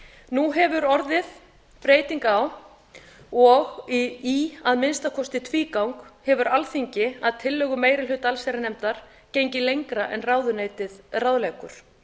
nú hefur orðið breyting á og í að minnsta kosti tvígang hefur alþingi að tillögu meiri hluta allsherjarnefndar gengið lengra en ráðuneytið ráðleggur